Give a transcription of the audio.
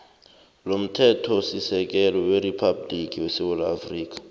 lomthethosisekelo weriphabhligi yesewula